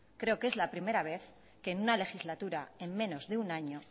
creo que es la primera vez que en una legislatura en menos de un año